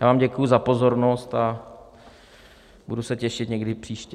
Já vám děkuji za pozornost a budu se těšit někdy příště.